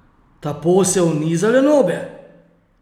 Ta posel ni za lenobe!